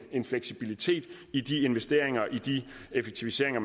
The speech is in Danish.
en fleksibilitet i de investeringer og effektiviseringer